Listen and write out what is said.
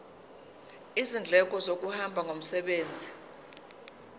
izindleko zokuhamba ngomsebenzi